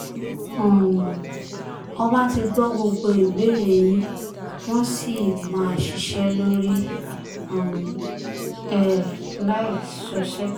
um ọba ti gbọ́ gbogbo ìbéèrè yín wọ́n sì máa ṣiṣẹ́ lórí um ẹ̀ láì ṣọṣẹ́